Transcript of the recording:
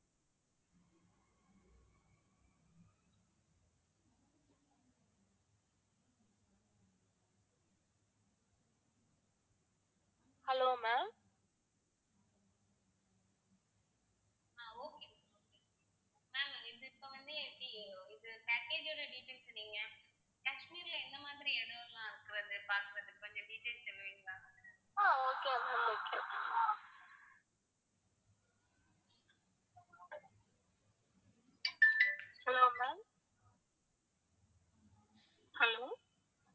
hello ma'am hello